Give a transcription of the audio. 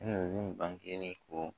bangelen kɔ